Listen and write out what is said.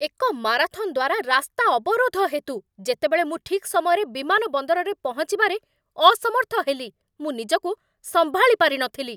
ଏକ ମାରାଥନ୍ ଦ୍ୱାରା ରାସ୍ତା ଅବରୋଧ ହେତୁ, ଯେତେବେଳେ ମୁଁ ଠିକ୍ ସମୟରେ ବିମାନବନ୍ଦରରେ ପହଞ୍ଚିବାରେ ଅସମର୍ଥ ହେଲି, ମୁଁ ନିଜକୁ ସମ୍ଭାଳିପାରି ନଥିଲି